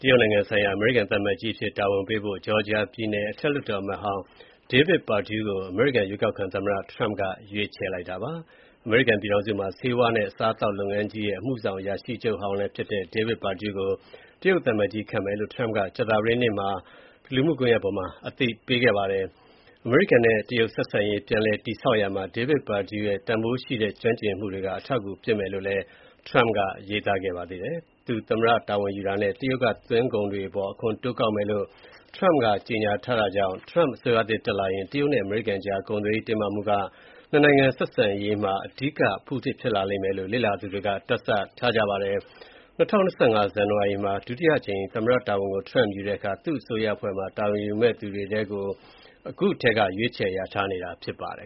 တရုတ်နိုင်ငံဆိုင်ရာ အမေရိကန်သံအမတ်ကြီးအဖြစ် တာဝန်ပေးဖို့ Georgia ပြည်နယ် အထက်လွှတ်တော်အမတ်ဟောင်းကို အမေရိကန်ရွေးကောက်ခံသမ္မတ Donald Trump က ရွေးချယ်လိုက်ပါတယ်။ အမေရိကန်ပြည်ထောင်စုမှာ ဆေးဝါးနဲ့ အစားအသောက်လုပ်ငန်းကြီးရဲ့ အမှုဆောင်အရာရှိချုပ် ဟောင်းလည်းဖြစ်၊Georgia ပြည်နယ် အထက်လွှတ်တော် အမတ်ဟောင်းလည်းဖြစ်တဲ့ David Perdue ကို တရုတ်သံအမတ်ကြီးခန့်မယ်လို့ရွေးကောက်ခံသမ္မတ Trump က ကြာသပတေးနေ့က လူမှုကွန်ရက်ပေါ်မှာ အသိပေးခဲ့ပါတယ်။ အမေရိကန်နဲ့ တရုတ်ဆက်ဆံရေး ပြန်လည် တည်ဆောက်ရာမှာ David Perdue ရဲ့ တန်ဖိုးရှိတဲ့ ကျွမ်းကျင်မှုတွေက အထောက်အကူဖြစ်မယ်လို့ Trump ကရေးသားခဲ့ပါတယ်။ သူသမ္မတ တာဝန်ယူတာနဲ့ တရုတ်က သွင်းကုန်တွေအပေါ် အခွန်တိုးကောက်မယ်လို့ Trump ကကြေညာထားတာကြောင့်Trump အစိုးရသစ်တက်လာရင် တရုတ်နဲ့ အမေရိကန်ကြား ကုန်သွယ်ရေးတင်းမာမှုက ၂ နိုင်ငံဆက်ဆံရေးမှာ အဓိကအဖုအထစ်ဖြစ်လိမ့်မယ်လို့ လေ့လာသူတွေက တွက်ဆထားကြပါတယ်။ ၂၀၂၅ ဇန်နဝါရီမှာ ဒုတိယအကြိမ် သမ္မတတာဝန်ကို Trump ယူတဲ့အခါ သူ့အစိုးရအဖွဲ့မှာ တာဝန်ယူမယ့်သူတွေကို အခုထဲက ရွေးချယ်လျာထားနေတာဖြစ်ပါတယ်